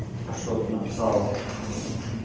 что-то написала ты